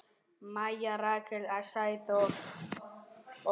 Maja, Ríkey, Sæþór og Jara.